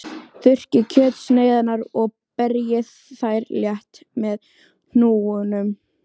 Þurrkið kjötsneiðarnar og berjið þær létt með hnúunum.